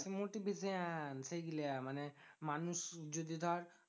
Motivation সেইগুলা মানে মানুষ যদি ধর